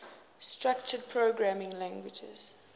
structured programming languages